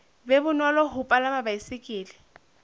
be bonolo ho palama baesekele